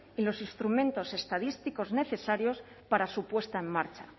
y los instrumentos estadísticos necesarios para su puesta en marcha